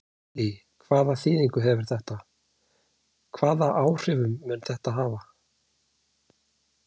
Lillý: Hvaða þýðingu hefur þetta, hvaða áhrif mun þetta hafa?